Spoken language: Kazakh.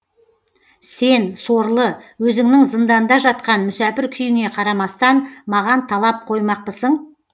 сен сорлы өзіңнің зыңданда жатқан мүсәпір күйіңе қарамастан маған талап қоймақпысың